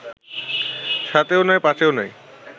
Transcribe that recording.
সাতেও নাই পাঁচেও নাই